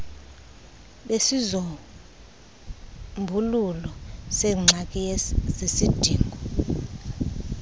bezisombululo zengxaki zesidingo